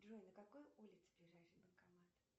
джой на какой улице ближайший банкомат